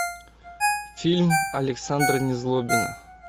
фильм александра незлобина